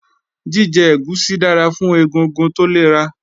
Jíjẹ ẹ̀gúsí dára fún egungun tó lera